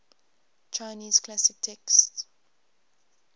chinese classic texts